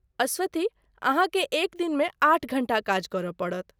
अस्वथी, अहाँके एक दिनमे आठ घंटा काज करय पड़त।